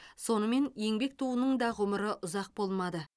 сонымен еңбек туының да ғұмыры ұзақ болмады